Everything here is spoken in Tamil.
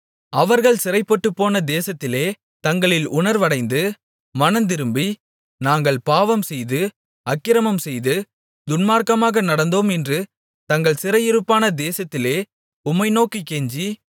அவர்கள் சிறைபட்டுப்போன தேசத்திலே தங்களில் உணர்வடைந்து மனந்திரும்பி நாங்கள் பாவம்செய்து அக்கிரமம்செய்து துன்மார்க்கமாக நடந்தோம் என்று தங்கள் சிறையிருப்பான தேசத்திலே உம்மை நோக்கிக் கெஞ்சி